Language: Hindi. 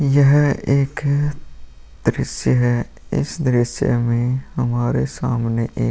यह एक दृश्य है इस दृश्य में हमारे सामने एक --